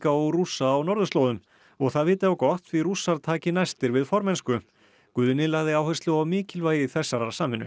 og Rússa á norðurslóðum og það viti á gott því Rússar taki næstir við formennsku Guðni lagði áherslu á mikilvægi þessarar samvinnu